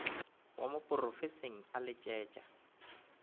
wa mo porofenseng a letšetša